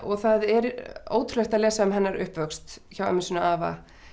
það er ótrúlegt að lesa um hennar uppvöxt hjá ömmu sinni og afa